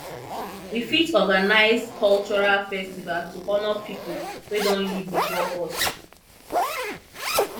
we fit organise culural festival to honour pipo wey don live before us